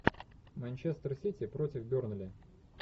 манчестер сити против бернли